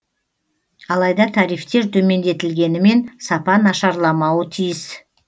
алайда тарифтер төмендетілгенімен сапа нашарламауы тиіс